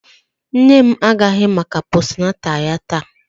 Nne m agaraghị maka postnatal ya taa